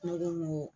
Ne ko n ko